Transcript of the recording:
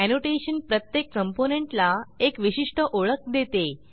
annotation प्रत्येक component ला एक विशिष्ट ओळख देते